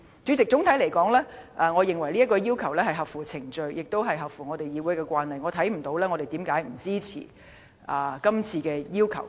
主席，總的來說，我認為有關請求合乎程序，亦合乎議會的慣例，所以我看不到為何我們不支持這個請求。